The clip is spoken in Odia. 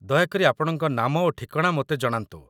ଦୟାକରି ଆପଣଙ୍କ ନାମ ଓ ଠିକଣା ମୋତେ ଜଣାନ୍ତୁ